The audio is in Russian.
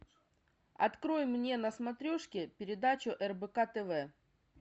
открой мне на смотрешке передачу рбк тв